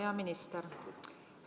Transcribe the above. Hea minister!